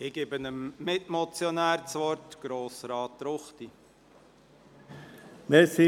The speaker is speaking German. Ich gebe dem Mitmotionär das Wort, Grossrat Ruchti.